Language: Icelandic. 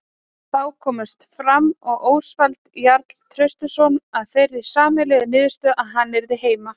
Þá komust Fram og Ósvald Jarl Traustason að þeirri sameiginlegu niðurstöðu að hann yrði heima.